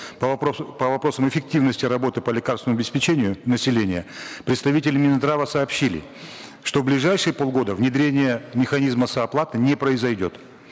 по по вопросам эффективности работы по лекарственному обеспечению населения представители минздрава сообщили что в ближайшие полгода внедрение механизма сооплаты не произойдет